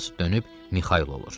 dönüb Mixail olur.